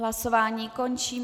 Hlasování končím.